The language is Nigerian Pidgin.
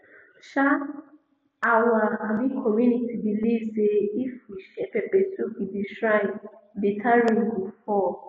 um our um community believe say if we share pepper soup with the shrine better rain go fall